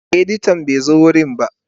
Editan bai zo wurin ba.